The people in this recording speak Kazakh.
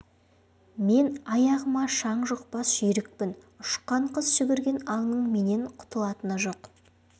мен аяғыма шаң жұқпас жүйрікпін ұшкан құс жүгірген аңның менен құтылатыны жоқ